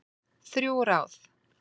Þrjú ráð